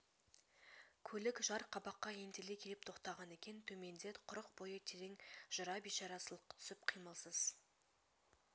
көлік жар қабаққа ентелей келіп тоқтаған екен төменде құрық бойы терең жыра бейшара сылқ түсіп қимылсыз